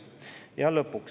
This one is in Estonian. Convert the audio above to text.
Ja lõpuks.